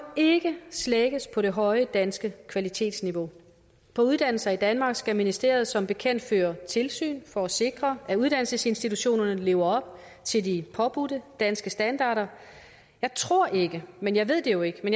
ikke slækkes på det høje danske kvalitetsniveau på uddannelser i danmark skal ministeriet som bekendt føre tilsyn for at sikre at uddannelsesinstitutionerne lever op til de påbudte danske standarder jeg tror ikke men jeg ved det jo ikke